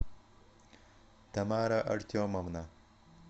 тамара артемовна